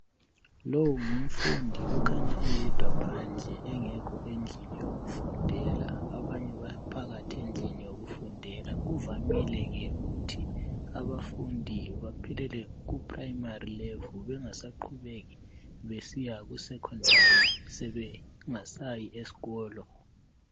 Lowu ngumfundi okhanya eyedwa phandle engekho endlini yokufundela .Abanye baphakathi endlini yokufundela. Kuvamile ke ukuthi abafundi baphelele ku primary level ,bengasaqubeki besiya kusecondary sebengasayi esikolo .